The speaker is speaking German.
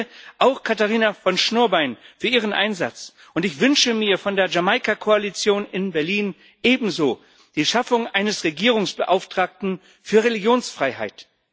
Ich danke auch Katharina von Schnurbein für ihren Einsatz. Ich wünsche mir von der Jamaika Koalition in Berlin ebenso die Schaffung eines Regierungsbeauftragten für Religionsfreiheit.